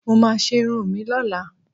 Mo máa ṣe irun mi lọ́la